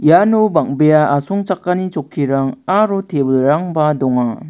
iano bang·bea asongchakani chokkirang aro table-rangba donga.